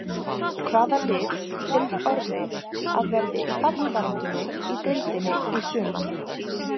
Hvaða lið telur Orri að verði í fallbaráttunni í deildinni í sumar?